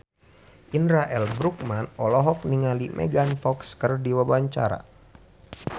Indra L. Bruggman olohok ningali Megan Fox keur diwawancara